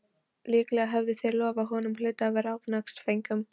Líklega höfðu þeir lofað honum hluta af ránsfengnum.